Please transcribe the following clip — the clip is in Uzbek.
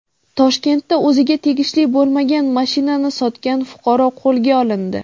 Toshkentda o‘ziga tegishli bo‘lmagan mashinani sotgan fuqaro qo‘lga olindi.